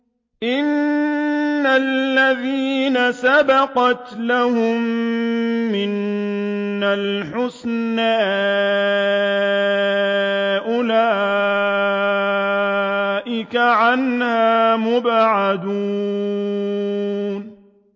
إِنَّ الَّذِينَ سَبَقَتْ لَهُم مِّنَّا الْحُسْنَىٰ أُولَٰئِكَ عَنْهَا مُبْعَدُونَ